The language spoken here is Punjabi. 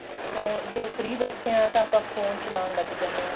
phone ਜੇ free ਬੈਠੇ ਆਂ ਤਾਂ ਆਪਾਂ phone ਚਲਾਨ ਲੱਗ ਜਾਂਦੇ ਆਂ